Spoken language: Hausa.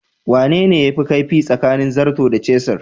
Wane ne yafi kaifi tsakanin zarto da cisir?